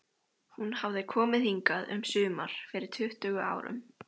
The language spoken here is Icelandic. Hún hafði komið hingað um sumar fyrir tuttugu árum.